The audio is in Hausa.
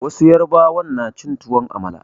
Wasu yarbawa na cin tuwon amala.